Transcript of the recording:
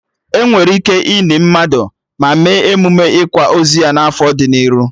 Enwere ike ini mmadụ, ma mee emụme ịkwa ozu ya na afọ dị n'iru